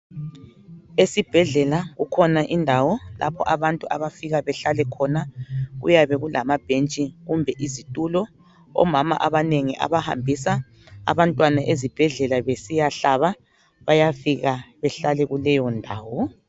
Esibhedlela kukhona indawo abantu lapho abafika behlale khona. Kuyabe kulama bhentshi kumbe izitulo. Omama abanengi abahambisa abantwana ezibhedlela besiya hlaba bayafika behlale kuleyo ndawo.